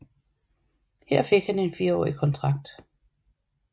Her fik han en firårig kontrakt